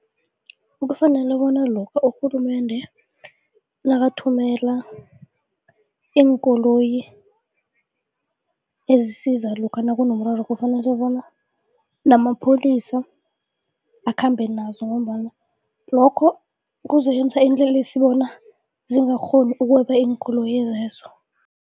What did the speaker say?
Kufanele bona lokha urhulumende nakathumela iinkoloyi ezisiza lokha nakunemiraro kufanele kobana namapholisa akhambe nazo ngombana lokho kuzokwenza iinlelesi bona zingakghoni ukweba iinkoloyi lezo.